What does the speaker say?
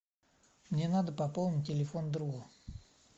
мне надо пополнить телефон друга